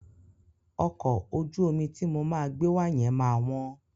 Ọkọ̀ ojú omi ti mo máa gbé wa yẹn ma wọ́n.